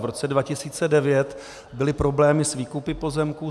V roce 2009 byly problémy s výkupy pozemků.